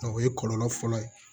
O ye kɔlɔlɔ fɔlɔ ye